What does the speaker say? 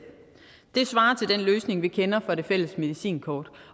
det svarer til den løsning vi kender fra det fælles medicinkort